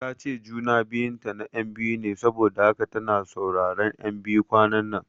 Tace juna biyun ta na ƴan biyu ne saboda haka tana sauraron ƴan biyu kwananan